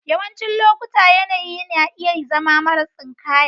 Yawancin lokuta yanayi na iya zama mara tsinkaya.